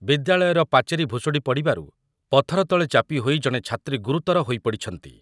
। ବିଦ୍ୟାଳୟର ପାଚେରୀ ଭୁଷୁଡି ପରିବାରୁ ପଥର ତଳେ ଚାପିହୋଇ ଜଣେ ଛାତ୍ରୀ ଗୁରୁତର ହୋଇ ପଡିଛନ୍ତି।